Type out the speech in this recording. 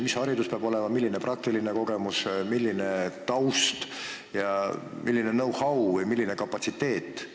Mis haridus peab olema, milline praktiline kogemus, milline taust, milline know-how või milline kapatsiteet?